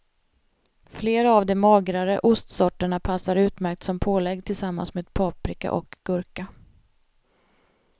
Flera av de magrare ostsorterna passar utmärkt som pålägg tillsammans med paprika och gurka.